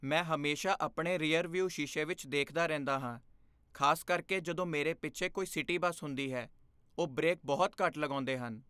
ਮੈਂ ਹਮੇਸ਼ਾ ਆਪਣੇ ਰੀਅਰਵਿਊ ਸ਼ੀਸ਼ੇ ਵਿੱਚ ਦੇਖਦਾ ਰਹਿੰਦਾ ਹਾਂ, ਖਾਸ ਕਰਕੇ ਜਦੋਂ ਮੇਰੇ ਪਿੱਛੇ ਕੋਈ ਸਿਟੀ ਬੱਸ ਹੁੰਦੀ ਹੈ। ਉਹ ਬ੍ਰੇਕ ਬਹੁਤ ਘੱਟ ਲਗਾਉਂਦੇ ਹਨ।